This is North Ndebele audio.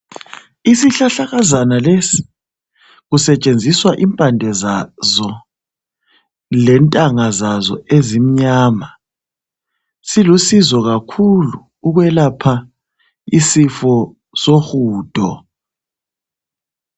Isihlahlakazana lesi kusetshenziswa impande zazo lentanga zazo ezimnyama. Zilusizo kakhulu ukwelapha umkhuhlane wohudo.